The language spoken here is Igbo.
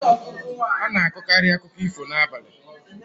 Ana akọkari akụkọ ifo n'abalị